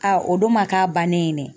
o don ma k'a bannen dɛ.